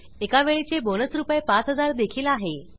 एका वेळचे बोनस रुपये 5000 देखील आहे